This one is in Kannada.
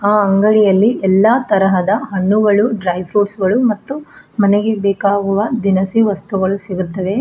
ಆ ಅಂಗಡಿಯಲ್ಲಿ ಎಲ್ಲಾ ತರಹದ ಹಣ್ಣುಗಳು ಡ್ರೈ ಫ್ರೂಟ್ ಗಳು ಮತ್ತು ಮನೆಗೆ ಬೇಕಾಗುವ ದಿನಸಿ ವಸ್ತುಗಳು ಸಿಗುತ್ತವೆ.